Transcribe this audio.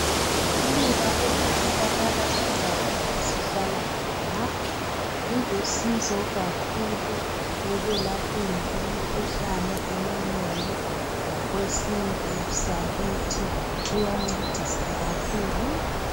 Iluba elitholakala endaweni esihlala khona lilusizo kakhulu ekwelapheni imikhuhlane eminengi ngokwesintu sakithi kuyancedisa kakhulu.